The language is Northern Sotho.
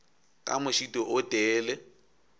ka mošito o tee le